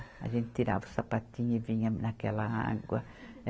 A gente tirava o sapatinho e vinha naquela água.